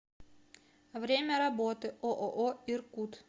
время работы ооо иркут